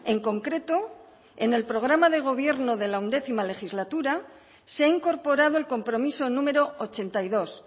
en concreto en el programa de gobierno de la once legislatura se ha incorporado el compromiso número ochenta y dos